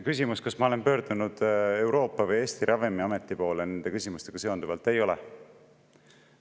Küsimus: kas ma olen pöördunud Euroopa või Eesti ravimiameti poole nende küsimustega seonduvalt?